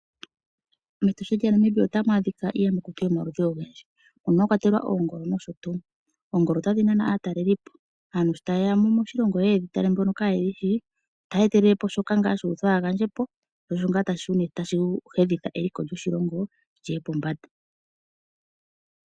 MEtosha lyaNamibia otamu adhika iiyamakuti yomaludhi ogendji mono mwa kwatelwa oongolo nosho tuu. Oongolo otadhi nana aatalelipo. Aantu shi taye ya moshilongo ye ye ye dhi tale mbono kaaye dhi shi, otaya etelele shoka shu uthwa ya gandje po sho osho tashi humitha eliko lyoshilongo pombanda.